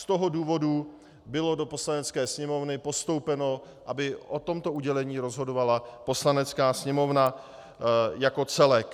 Z toho důvodu bylo do Poslanecké sněmovny postoupeno, aby o tomto udělení rozhodovala Poslanecká sněmovna jako celek.